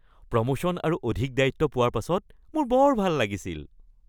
Promotion আৰু অধিক দায়িত্ব পোৱাৰ পাছত মোৰ বৰ ভাল লাগিছিল।